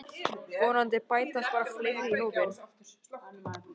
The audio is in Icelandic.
Vonandi bætast bara fleiri í hópinn